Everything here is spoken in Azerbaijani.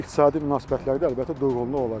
Amma iqtisadi münasibətlərdə əlbəttə durğunluq olacaqdır.